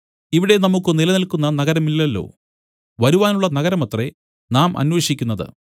ഇവിടെ നമുക്കു നിലനില്ക്കുന്ന നഗരമില്ലല്ലോ വരുവാനുള്ള നഗരമത്രേ നാം അന്വേഷിക്കുന്നത്